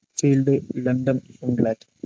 field London England